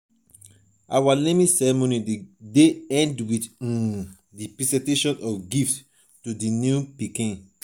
our naming ceremony dey end with um di presentation of gifts to di new baby.